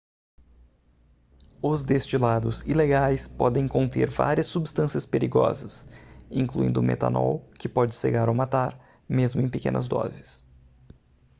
os destilados ilegais podem conter várias substâncias perigosas incluindo metanol que pode cegar ou matar mesmo em pequenas doses